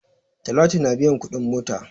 Talatu na biyan kuɗin mota.